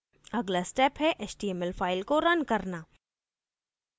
अगला step है html file को रन करना